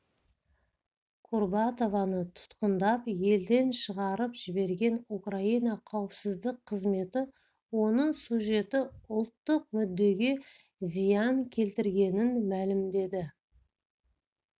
курбатованы тұтқындап елден шығарып жіберген украина қауіпсіздік қызметі оның сюжеті ұлттық мүддеге зиян келтіргенін мәлімдеді